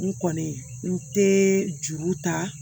N kɔni n te juru ta